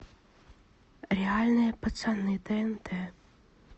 реальные пацаны тнт